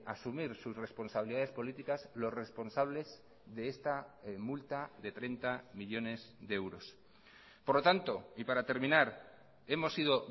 asumir sus responsabilidades políticas los responsables de esta multa de treinta millónes de euros por lo tanto y para terminar hemos sido